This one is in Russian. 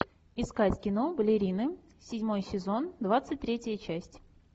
искать кино балерины седьмой сезон двадцать третья часть